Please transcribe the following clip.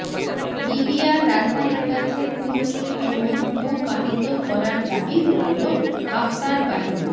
লিবিয়ার রাজধানীর কাছে তুর্কি ড্রোন ভূপাতিত করার দাবি করল হাফতার বাহিনী